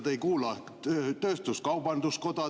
Te ei kuula kaubandus-tööstuskoda, te ei kuula …